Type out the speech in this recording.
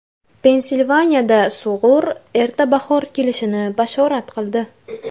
Pensilvaniyada sug‘ur erta bahor kelishini bashorat qildi .